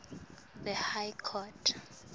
the high court